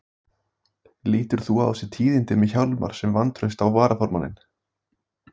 Páll Ketilsson: Lítur þú á þessi tíðindi með Hjálmar sem vantraust á varaformanninn?